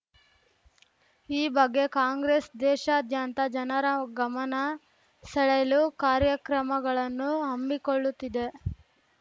ಈ ಬಗ್ಗೆ ಕಾಂಗ್ರೆಸ್‌ ದೇಶಾದ್ಯಂತ ಜನರ ಗಮನ ಸೆಳೆಯಲು ಕಾರ್ಯಕ್ರಮಗಳನ್ನು ಹಮ್ಮಿಕೊಳ್ಳುತ್ತಿದೆ